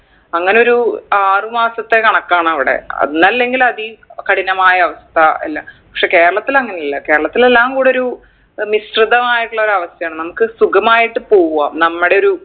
അങ്ങനൊരു ആറ് മാസത്തെ കണക്കാണ് അവിടെ അന്നല്ലെങ്കിൽ അതികഠിനമായ അവസ്ഥ അല്ല പക്ഷെ കേരളത്തിൽ അങ്ങനല്ല കേരളത്തിൽ എല്ലാം കൂടൊരു ഏർ മിശ്രിതമായിട്ടുള്ളൊരു അവസ്ഥയാണ് നമുക്ക് സുഖമായിട്ട് പോവ നമ്മടെ ഒരു